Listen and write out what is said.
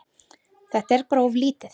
Þetta er bara of lítið.